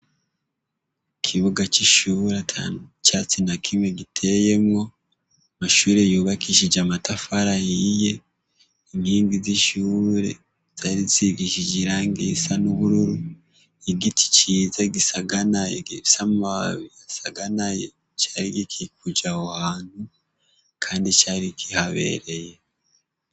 MUkibuga c'ishure ata vyatsi na kimwe giteyemwo, amashure yubakishije amatafari ahiye, inkingi z'ishure zari risigishije irangi risa n'ubururu. Igiti ciza gisaganaye gifise amababi asaganaye gikikuje aho hantu Kandi kihabereye.